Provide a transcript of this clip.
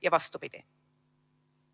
Ja vastupidi.